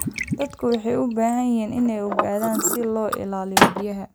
Dadku waxay u baahan yihiin inay ogaadaan sida loo ilaaliyo biyaha.